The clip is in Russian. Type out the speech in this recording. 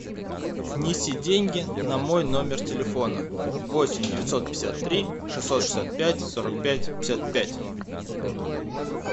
внеси деньги на мой номер телефона восемь девятьсот пятьдесят три шестьсот шестьдесят пять сорок пять пятьдесят пять